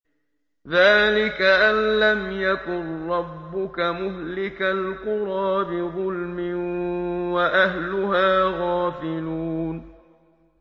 ذَٰلِكَ أَن لَّمْ يَكُن رَّبُّكَ مُهْلِكَ الْقُرَىٰ بِظُلْمٍ وَأَهْلُهَا غَافِلُونَ